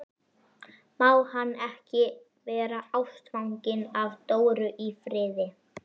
Má hann ekki vera ástfanginn af Dóru í friði?